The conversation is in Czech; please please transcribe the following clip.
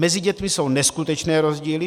Mezi dětmi jsou neskutečné rozdíly.